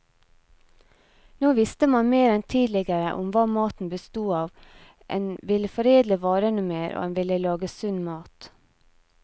Nå visste man mer enn tidligere om hva maten bestod av, en ville foredle varene mer, og en ville lage sunn mat.